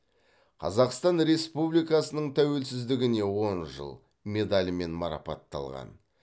қазақстан республикасының тәуелсіздігіне он жыл медалімен марапатталған